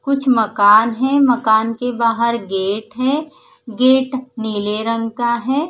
कुछ मकान है मकान के बाहर गेट है गेट नील रंग का है।